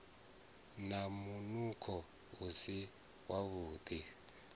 na munukho u si wavhuḓi